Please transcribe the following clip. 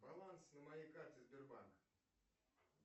баланс на моей карте сбербанка